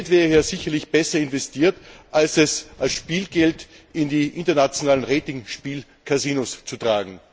Das Geld wäre hier sicherlich besser investiert, als es als Spielgeld in die internationalen Rating Spielkasinos zu tragen.